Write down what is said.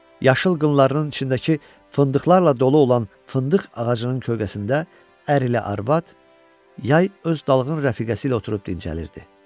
Yaşıl qınlarının içindəki fındıqlarla dolu olan fındıq ağacının kölgəsində ər ilə arvad yay öz dalğın rəfiqəsi ilə oturub dincəlirdi.